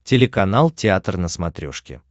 телеканал театр на смотрешке